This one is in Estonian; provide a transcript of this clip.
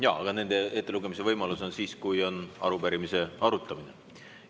Jaa, aga nende ettelugemise võimalus on siis, kui on arupärimise arutamine.